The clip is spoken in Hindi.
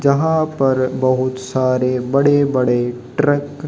जहां पर बहुत सारे बड़े बड़े ट्रक --